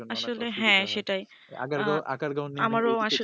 আসলে হ্যা সেটাই আমারো আসলে